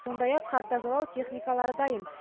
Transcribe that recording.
сондай ақ қар тазалау техникалары дайын